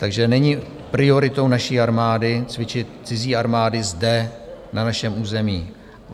Takže není prioritou naší armády cvičit cizí armády zde na našem území.